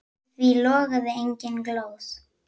Í því logaði engin glóð.